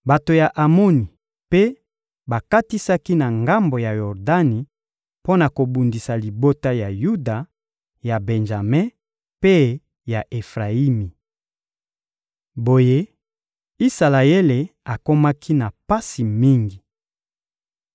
Bato ya Amoni mpe bakatisaki na ngambo ya Yordani mpo na kobundisa libota ya Yuda, ya Benjame mpe ya Efrayimi. Boye, Isalaele akomaki na pasi mingi.